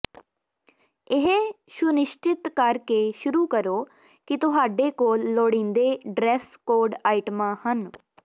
ਇਹ ਸੁਨਿਸ਼ਚਿਤ ਕਰ ਕੇ ਸ਼ੁਰੂ ਕਰੋ ਕਿ ਤੁਹਾਡੇ ਕੋਲ ਲੋੜੀਂਦੇ ਡਰੈੱਸ ਕੋਡ ਆਈਟਮਾਂ ਹਨ